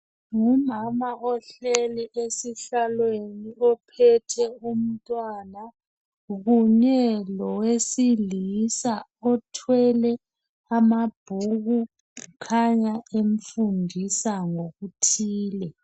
Ngumama ohleli esihlalweni ophethe umntwana Kanye lowesilisa othwele amabhuku okhanya ethwele okuthile